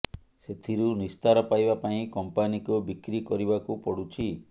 ସେଥିରୁ ନିସ୍ତାର ପାଇବା ପାଇଁ କଂପାନିକୁ ବିକ୍ରି କରିବାକୁ ପଡୁଛି